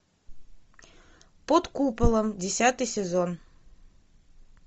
под куполом десятый сезон